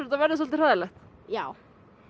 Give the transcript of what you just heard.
þetta verði svolítið hræðilegt já